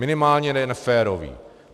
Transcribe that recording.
Minimálně ne neférový.